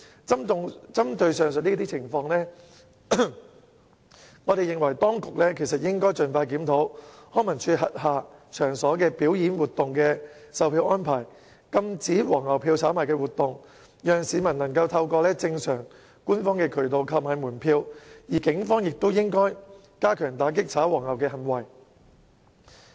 針對上述情況，我認為當局應該盡快檢討康文署轄下場所表演活動的售票安排，禁止"黃牛票"的炒賣活動，讓市民能夠透過正常官方渠道購買門票，而警方亦應該加強打擊"炒黃牛"行為。